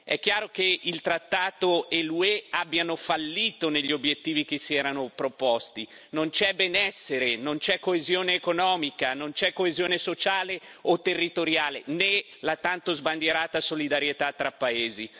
È chiaro che il trattato e l'UE hanno fallito negli obiettivi che si erano proposti non c'è benessere, non c'è coesione economica, non c'è coesione sociale o territoriale né la tanto sbandierata solidarietà tra paesi.